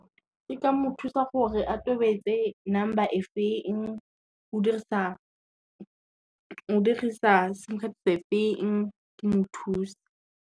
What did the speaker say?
Ke ka mo thusa gore a tobetse number e feng, o dirisa sim card se feng ke mo thuse.